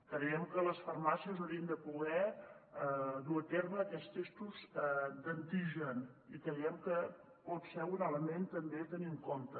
creiem que les farmàcies haurien de poder dur a terme aquests testos d’antigen i creiem que pot ser un element també a tenir en compte